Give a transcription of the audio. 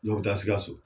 Dɔw bɛ taa sikaso